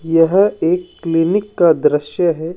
यह एक क्लीनिक का दृश्य है।